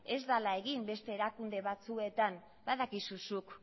ez dala egin beste erakunde batzuetan badakizu zuk